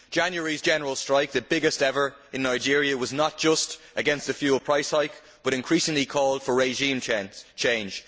January's general strike, the biggest ever in Nigeria, was not just against the fuel price hike but increasingly called for regime change.